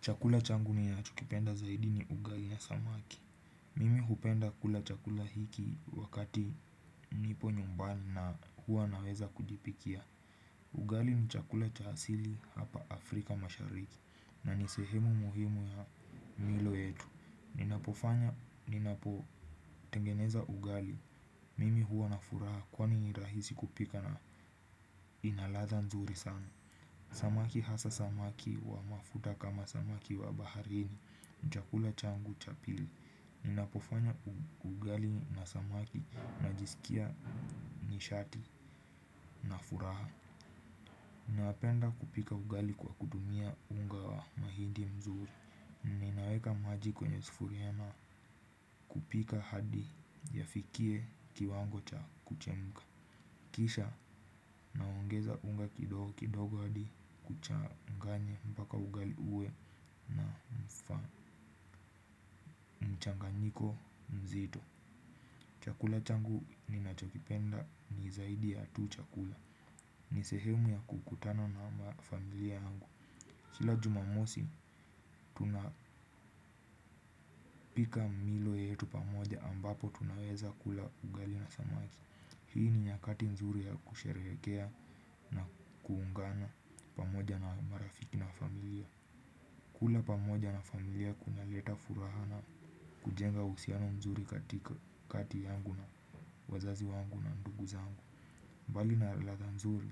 Chakula changu ninachokipenda zaidi ni ugali ya samaki. Mimi hupenda kula chakula hiki wakati nipo nyumbani na huwa naweza kujipikia. Ugali ni chakula cha hasili hapa Afrika mashariki na nisehemu muhimu ya milo yetu. Ninapofanya, ninapo tengeneza ugali, mimi huwa na furaha kwani rahisi kupika na ina latha nzuri sana. Samaki hasa samaki wa mafuta kama samaki wa baharini, ni chakula changu cha pili. Ninapofanya ugali na samaki na jisikia nishati na furaha. Ninapenda kupika ugali kwa kudumia unga wa mahidi mzuri. Ninaweka maji kwenye sufuria na kupika hadi yafikie kiwango cha kuchemuka. Kisha naongeza unga kidogo kidogo hadi kuchanganye mbaka ugali uwe faa. Niko mzito. Chakula changu ninachokipenda ni zaidi ya tu chakula. Ni sehemu ya kukutana na mafamilia angu kila jumamosi tunapika milo yetu pamoja ambapo tunaweza kula ugali na samaki. Hii ni nyakati nzuri ya kusherekea na kuungana pamoja na marafiki na familia. Kula pamoja na familia kuna leta furaha na kujenga usiano mzuri katika kati yangu na wazazi wangu na ndugu zangu. Mbali na latha nzuri,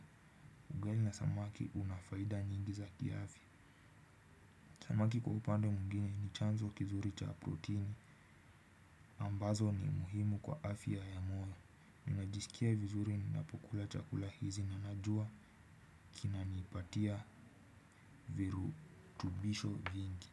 ugali na samaki unafaida nyingi za kiafia. Samaki kwa upande muingine ni chanzo kizuri cha proteini ambazo ni muhimu kwa afiya ya moyo. Ninajisikia vizuri ninapokula chakula hizi nanajua kinanipatia viru tubisho vingi.